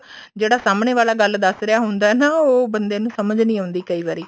ਜਿਹੜਾ ਸਾਹਮਣੇ ਵਾਲਾ ਗੱਲ ਦੱਸ ਰਿਹਾ ਹੁੰਦਾ ਨਾ ਉਹ ਬੰਦੇ ਨੂੰ ਸਮਝ ਨੀ ਆਉਂਦੀ ਕਈ ਵਾਰੀ